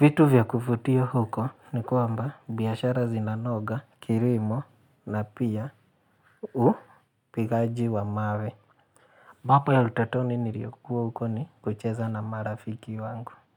Vitu vya kuvutia huko ni kwamba biashara zinanoga, kilimo na pia upigaji wa mawe. Mambo ya utotoni niliokua huko ni kucheza na marafiki wangu.